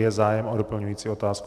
Je zájem o doplňující otázku?